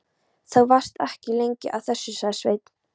Þú varst ekki lengi að þessu, sagði Sveinn.